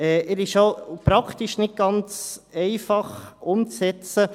Er ist schon praktisch nicht ganz einfach umzusetzen.